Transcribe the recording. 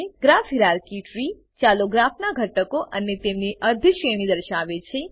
graph hierarchy ત્રી ચાલુ ગ્રાફનાં ઘટકો અને તેમની અધિશ્રેણી દર્શાવે છે